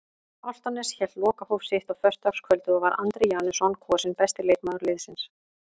Álftanes hélt lokahóf sitt á föstudagskvöldið og var Andri Janusson kosinn besti leikmaður liðsins.